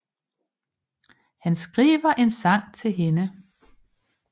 Han skriver en sang til hende